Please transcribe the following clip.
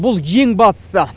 бұл ең бастысы